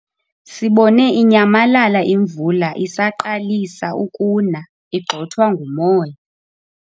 Sibone inyamalala imvula isaqalisa ukuna igxothwa ngumoya.